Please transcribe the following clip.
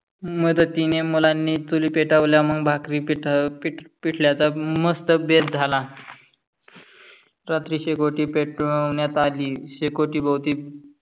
मदतीने मुलानी चुली पेटवहल्या मग भाकरी पिठल्याचा बेथ झाला. रात्री शेकोटी पेटवहन्यात आली मग शेकोटी भोवहती